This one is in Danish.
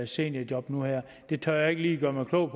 seniorjob nu her det tør jeg ikke lige gøre mig klog